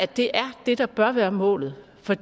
det er det der bør være målet for